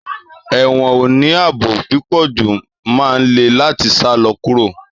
Èwõn óní aabó pípõjú má n lè latí sálõ kúró